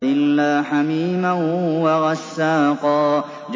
إِلَّا حَمِيمًا وَغَسَّاقًا